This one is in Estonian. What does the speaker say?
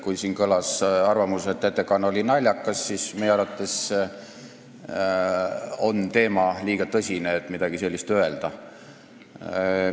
Kui siin kõlas arvamus, et ettekanne oli naljakas, siis meie arvates on teema liiga tõsine, et midagi sellist öelda.